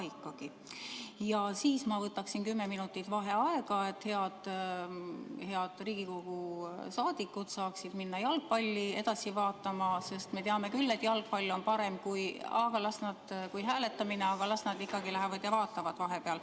Ühtlasi võtaksin ma kümme minutit vaheaega, et head Riigikogu liikmed saaksid minna jalgpalli vaatama, sest me teame küll, et jalgpall on parem kui hääletamine – las nad lähevad ja vaatavad vahepeal.